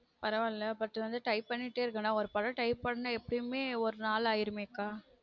பரவாயில்ல but வந்து type பண்ணிட்டேருக்கன ஒரு படம் type பண்ண எப்டியுமே ஒரு நாள் ஆயிடுமே கா